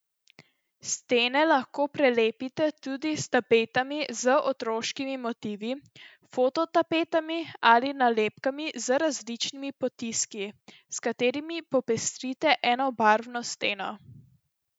Stene lahko prelepite tudi s tapetami z otroškimi motivi, fototapetami ali nalepkami z različnimi potiski, s katerimi popestrite enobarvno steno.